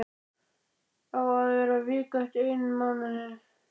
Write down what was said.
Á að bera viku af einmánuði.